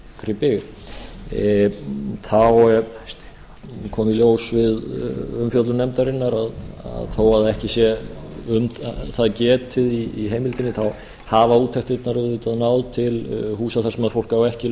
slíkri byggð þá kom í ljós við umfjöllun nefndarinnar að þó ekki sé um það getið í heimildinni þá hafa úttektirnar auðvitað náð til húsa þar sem fólk á ekki